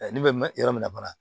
ne bɛ yɔrɔ min na fana